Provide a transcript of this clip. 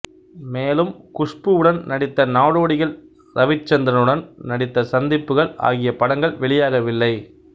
மேலும் குஷ்பூவுடன் நடித்த நாடோடிகள் ரவிச்சந்திரனுடன் நடித்த சந்திப்புகள் ஆகிய படங்கள் வெளியாகவில்லை